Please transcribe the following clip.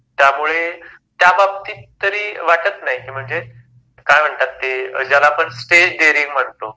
त्यामुळे त्या बाबतीत तरी वाटत नाही कि म्हणजे काय म्हणतात ते ज्याला आपण स्टेज डेरिंग म्हणतो